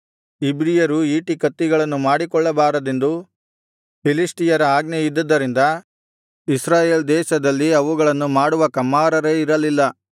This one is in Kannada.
ಇಬ್ರಿಯರು ಈಟಿಕತ್ತಿಗಳನ್ನು ಮಾಡಿಕೊಳ್ಳಬಾರದೆಂದು ಫಿಲಿಷ್ಟಿಯರ ಆಜ್ಞೆಯಿದ್ದದರಿಂದ ಇಸ್ರಾಯೇಲ್‌ ದೇಶದಲ್ಲಿ ಅವುಗಳನ್ನು ಮಾಡುವ ಕಮ್ಮಾರರೇ ಇರಲಿಲ್ಲ